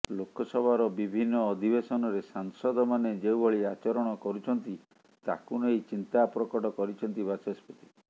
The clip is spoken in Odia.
ଲୋକସଭାର ବିଭିନ୍ନ ଅଧିବେଶନରେ ସାଂସଦମାନେ ଯେଉଁଭଳି ଆଚରଣ କରୁଛନ୍ତି ତାକୁ ନେଇ ଚିନ୍ତା ପ୍ରକଟ କରିଛନ୍ତି ବାଚସ୍ପତି